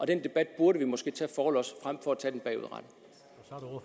den debat burde vi måske tage forlods frem